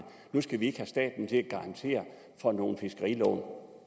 nu skulle vi ikke have staten til at garantere for nogle fiskerilån